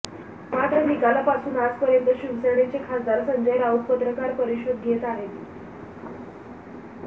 मात्र निकालापासून आजपर्यंत शिवसेनेचे खासदार संजय राऊत पत्रकार परिषद घेत आहेत